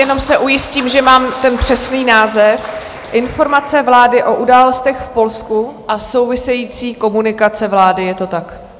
Jenom se ujistím, že mám ten přesný název: Informace vlády o událostech v Polsku a související komunikace vlády, je to tak?